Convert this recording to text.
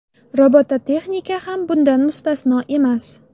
Robototexnika ham bundan mustasno emas.